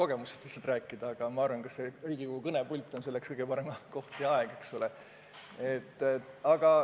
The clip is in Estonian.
Mina võin lihtsalt rääkida kogemustest oma lastega, aga Riigikogu kõnepult ei pruugi selleks kõige parem koht olla.